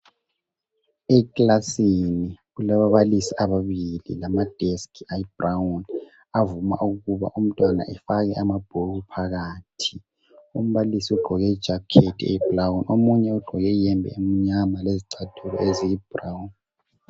Ekilasini kulababalisi ababili lamadeski ayibrown avuma ukuba umntwana afake amabhuku phakathi. Umbalisi ugqoke ijakhethi eyibrown omunye ugqoke iyembe emnyama lezicathulo eziyibrown.